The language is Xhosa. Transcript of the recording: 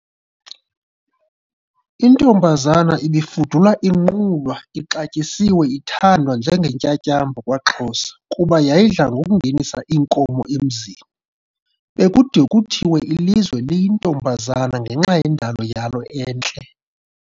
Intombazana ibifudula inqulwa ixatyisiwe ithandwa njengentyantyambo kwaXhosa kuba yayidla ngokungenisa iinkomo emzini. Bekude kuthiwe ilizwe liyintombazana ngenxa yendalo yalo entle.